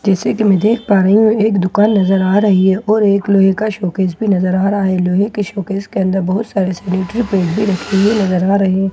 जैसे कि मैं देख पा रही हूँ एक दुकान नजर आ रही है और एक लोहे का शोकेश भी नज़र आ रहा है लोहे के शोकेस के अन्दर बहुत सारी सैनिटरी पैड भी रखी हुई नजर आ रहे है।